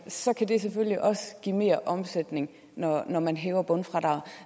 så kan det selvfølgelig også give mere omsætning når når man hæver bundfradraget